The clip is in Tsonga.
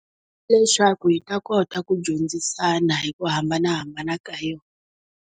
Leswaku hi ta kota ku dyondzisana hi ku hambanahambana ka yoho.